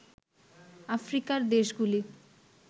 আফ্রিকার দেশগুলি